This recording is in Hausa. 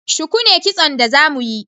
Shuku ne Kitson da za mu yi